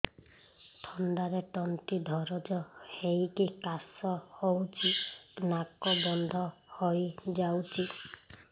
ଥଣ୍ଡାରେ ତଣ୍ଟି ଦରଜ ହେଇକି କାଶ ହଉଚି ନାକ ବନ୍ଦ ହୋଇଯାଉଛି